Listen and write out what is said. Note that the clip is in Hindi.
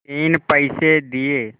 तीन पैसे दिए